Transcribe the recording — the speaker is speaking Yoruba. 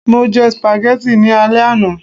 mo je spaghetti ni ale àná